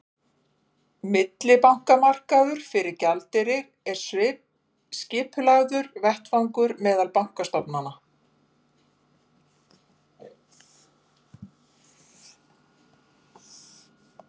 Millibankamarkaður fyrir gjaldeyri er skipulagður vettvangur meðal bankastofnana.